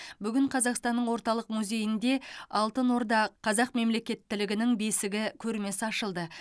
бүгін қазақстанның орталық музейінде алтын орда қазақ мемлекеттілігінің бесігі көрмесі ашылды